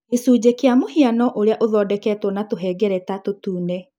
Gĩcunjĩ kĩa mũhiano ũrĩa ũthondeketwo na tũhengereta tũtune.